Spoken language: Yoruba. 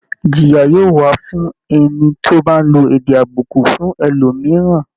Ìjìyà yóò wà fún ẹni tó bá ń lo èdè àbùkù fún ẹlòmìíràn